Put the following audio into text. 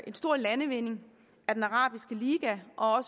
en stor landvinding at den arabiske liga og